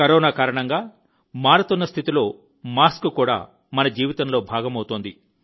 corona కారణంగా మారుతున్న స్థితిలో మాస్క్ కూడా మన జీవితంలో భాగమవుతోంది